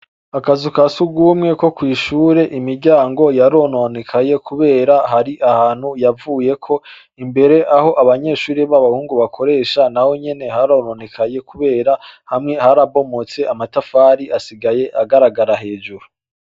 Akazu ka sugumwe ko kw'ishure, imiryango yarononekaye kubera hari ahantu yavuyeko. Imbere aho abanyeshure b'abahungu bakoresha naho nyene harononekaye kubera hamwe harabomotse, amatafari asigaye agaragara hejuru.